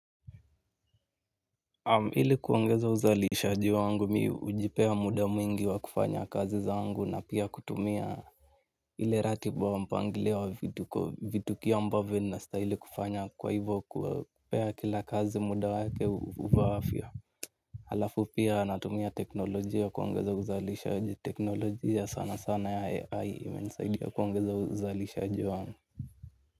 Ili kuongeza uzalishaji wangu mimi hujipea muda mwingi wa kufanya kazi zangu na pia kutumia ile ratiba ya mpangilo wa vitukio ambavyo ninastahili kufanya kwa hivyo kupa kila kazi muda wake ufaavyo. Alafu pia natumia teknolojia kuongeza uzalishaji teknolojia sana sana ya AI imenisaidia kuongeza uzalishaji wangu.